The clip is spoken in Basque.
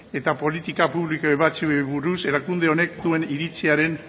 eta politika publiko ebatziei buruz erakunde honek duen iritziaren